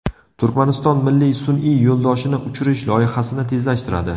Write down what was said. Turkmaniston milliy sun’iy yo‘ldoshini uchirish loyihasini tezlashtiradi.